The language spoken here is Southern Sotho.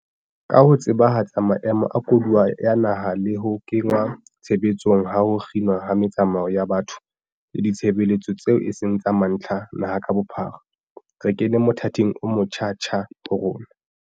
Ka ho tsebahatsa maemo a koduwa ya naha le ho kenngwa tshebetsong ha ho kginwa ha metsamao ya batho le ditshebeletso tseo eseng tsa mantlha naha ka bophara, re kene mothating omotjha-tjha ho rona.